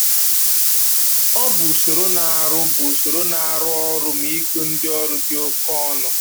Ọ bụ usoro na-arụ bụ usoro na-arụ ọrụ ma igo ndị ọrụ dị oke ọnụ